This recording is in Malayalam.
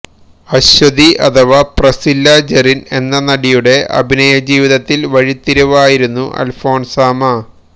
അശ്വതി അഥവാ പ്രസില്ല ജെറിന് എന്ന നടിയുടെ അഭിനയജീവിതത്തില് വഴിത്തിരിവായിരുന്നു അല്ഫോന്സാമ്മ